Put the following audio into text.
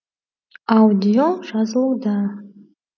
аудио жазылуда